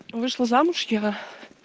вышла замуж я